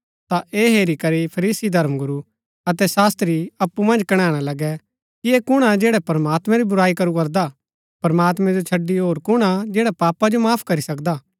ता ऐह हेरी करी फरीसी धर्मगुरू अतै शास्त्री अप्पु मन्ज कणैणा लगै कि ऐह कुण हा जैडा प्रमात्मैं री बुराई करू करदा प्रमात्मैं जो छड़ी होर कुण हा जैडा पापा जो माफ करी सकदा